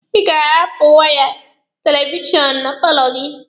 Ị ga-ahapụ waya ekstenshọnụ na paalọ gị.